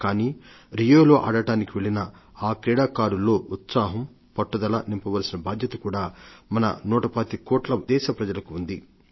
కానీ రియోలో ఆడటానికి వెళ్లిన ఆ క్రీడాకులతో ఉత్సాహం పట్టుదల నింపవలసిన బాధ్యత కూడా మన నూటపాతిక కోట్ల మంది దేశవాసులకు ఉంది